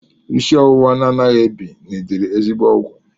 Isi ọwụwa na-anaghị ebi nidiri ezigbo ọgwụ.